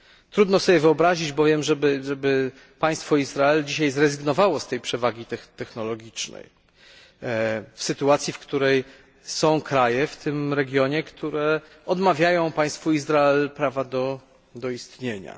Trudno sobie wyobrazić bowiem, żeby państwo Izrael dzisiaj zrezygnowało z tej przewagi technologicznej w sytuacji, w której są kraje w tym regionie, które odmawiają państwu Izrael prawa do istnienia.